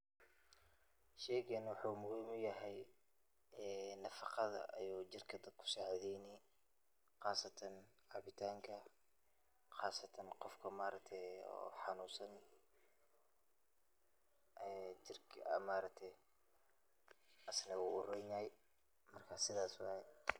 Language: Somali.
Sheygan waxu muhim uyahay ee nafaqada ayuu jirka dadka kusacideyni qasatan cabitanka qasatan qofka maaragte oo xanunsan, jirka dadka asne wuronyahay marka sidas waye.